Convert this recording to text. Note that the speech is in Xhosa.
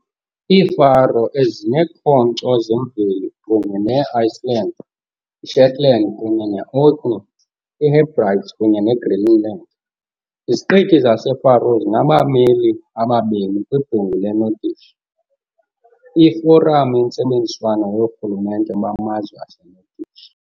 IiFaroe zineekhonkco zemveli kunye ne -Iceland, iShetland kunye ne Orkney, iHebrides kunye ne Greenland. Iziqithi zaseFaroe zinabameli ababini kwiBhunga leNordic, iforamu yentsebenziswano yoorhulumente bamazwe aseNordic.